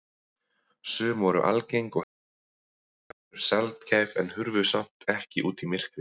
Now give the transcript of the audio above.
Sum voru algeng og heyrðust oft, önnur sjaldgæf en hurfu samt ekki út í myrkrið.